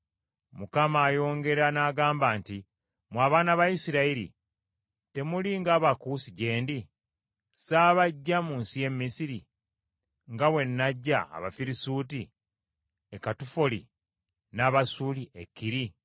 Mukama ayongera n’agamba nti, “Mmwe abaana ba Isirayiri temuli ng’Abakuusi gye ndi? Ssabaggya mu nsi y’e Misiri nga bwe naggya Abafirisuuti e Katufoli, n’Abasuuli e Kiri?”